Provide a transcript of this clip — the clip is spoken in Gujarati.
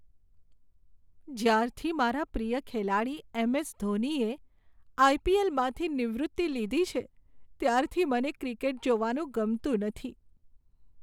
જ્યારથી મારા પ્રિય ખેલાડી એમ.એસ. ધોનીએ આઈ.પી.એલ.માંથી નિવૃત્તિ લીધી છે, ત્યારથી મને ક્રિકેટ જોવાનું ગમતું નથી.